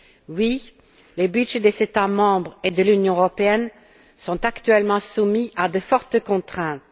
Oui, les budgets des États membres et de l'Union européenne sont actuellement soumis à de fortes contraintes.